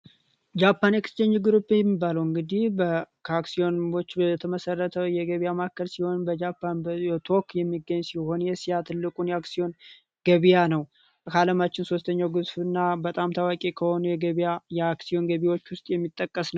ጃፓን ኤክስቼንጅ ፍሩፕ የሚባለው እንግዲህ ከአክሲዮኖች የተመሰረተ የገበያ ማዕከል ሲሆን፤ በጃፓን ቶኪዮ የሚገኝ ሲሆን የኤሲያ ትልቁን የአክሲዮን ገበያ ነውና በጣም ታዋቂ ከሆነ የገበያ የአክሲዮን ገቢዎች ውስጥ የሚጠቀስ ነው።